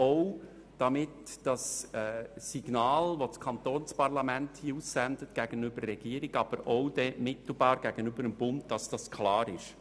Dies auch, damit das Signal, welches das Kantonsparlament hier gegenüber der Regierung, mittelbar aber auch gegenüber dem Bund aussendet, klar ist.